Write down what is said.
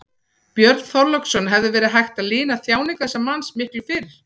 Björn Þorláksson: Hefði verið hægt að lina þjáningar þessa manns miklu fyrr?